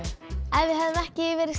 ef við hefðum ekki verið